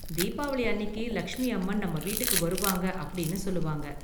தீபாவளி அன்னிக்கு லக்ஷ்மி அம்மன் நம்ம வீட்டுக்கு வருவாங்க அப்படின்னு சொல்லுவாங்க.